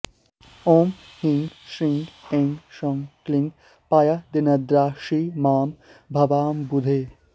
ॐ ह्रीं श्रीं ऐं सौः क्लीं पायादिन्द्राक्षी मां भवाम्बुधेः